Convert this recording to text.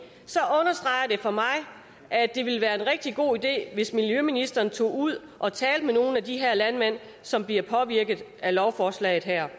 for mig at det ville være en rigtig god idé hvis miljøministeren tog ud og talte med nogle af de her landmænd som bliver påvirket af lovforslaget her